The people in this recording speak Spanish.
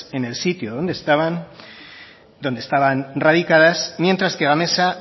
en el sitio donde estaban radicadas mientras que gamesa